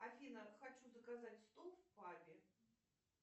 афина хочу заказать стол в пабе